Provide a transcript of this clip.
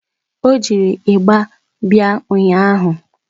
Ọ jiri ịgba bịa ụnyaahụ